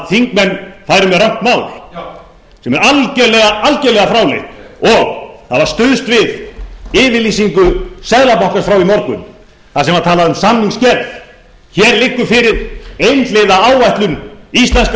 þingmenn færu með rangt mál já sem er algerlega fráleitt og það var stuðst við yfirlýsingu seðlabankans frá í morgun þar sem var talað um samningsgerð hér liggur fyrir einhliða áætlun íslenskra